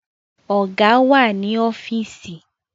Ọ̀gá wà ní ọ́fíìsì